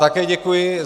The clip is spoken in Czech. Také děkuji.